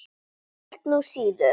Ég held nú síður.